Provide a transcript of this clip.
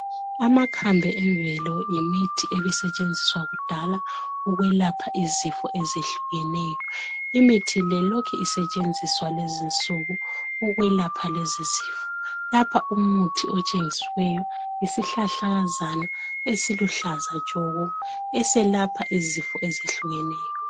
Amakhambe emvelo yimithi ebisetshenziswa kudala. Ukwelapha izifio ezehlukeneyo. àlmithi le ilokhu isetshenziswa ukwelapha izifo ezehlukeneyo. Lapha okutshengisiweyo yisihlahlakazana, esiluhlaza tshoko! Eselapha izifo ezehlukeneyo..